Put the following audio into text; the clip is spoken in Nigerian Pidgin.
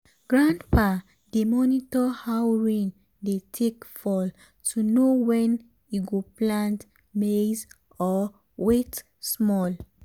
grandpa dey monitor how rain dey take fall to know when e go plant maize or wait small.